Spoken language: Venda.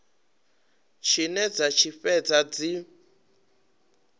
tshine dza tshi fhedza dzi